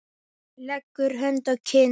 Leggur hönd að kinn.